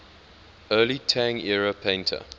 early tang era painter